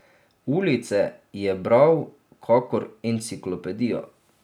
Ulice je bral kakor enciklopedijo.